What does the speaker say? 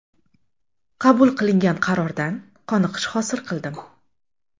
Qabul qilingan qarordan qoniqish hosil qildim.